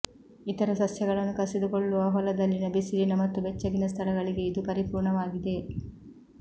ಇತರ ಸಸ್ಯಗಳನ್ನು ಕಸಿದುಕೊಳ್ಳುವ ಹೊಲದಲ್ಲಿನ ಬಿಸಿಲಿನ ಮತ್ತು ಬೆಚ್ಚಗಿನ ಸ್ಥಳಗಳಿಗೆ ಇದು ಪರಿಪೂರ್ಣವಾಗಿದೆ